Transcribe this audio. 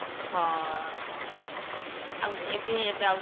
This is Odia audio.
ହଁ ଅଂ ଆଉ ଏବେ ଯାଉ